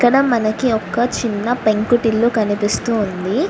ఇక్కడ మనకి ఒక్క చిన్న పెంకుటిల్లు కనిపిస్తుంది.